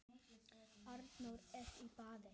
Arnór er í baði